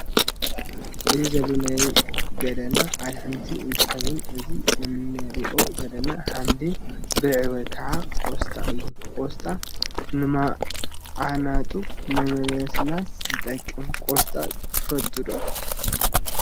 ኣብዚ ዘሎ ናይ ገደና ኣሕምልቲ እንትከውን እዚ እነረኦ ዘለና ሓምሊ ብልዒ ወይ ከዓ ቆስጣ እዩ ።ቆስጣ ንማዓናጡ ንምልስላስ ይጠቅም። ቆስጣ ትፈትው ዶ ?